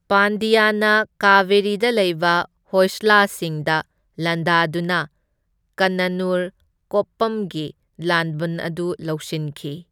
ꯄꯥꯟꯗꯤꯌꯥꯅ ꯀꯚꯦꯔꯤꯗ ꯂꯩꯕ ꯍꯣꯏꯁꯂꯁꯤꯡꯗ ꯂꯥꯟꯗꯥꯗꯨꯅ ꯀꯟꯅꯅꯨꯔ ꯀꯣꯞꯄꯝꯒꯤ ꯂꯥꯟꯕꯟ ꯑꯗꯨ ꯂꯧꯁꯤꯟꯈꯤ꯫